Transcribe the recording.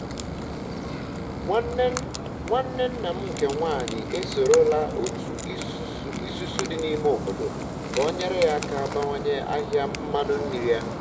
nwanne nna m nke nwanyị e sorola otu isusu di na ime obodo ka o nyere ya aka bawanye ahịa mmanụ nri ya